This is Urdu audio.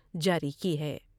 جاری کی ہے ۔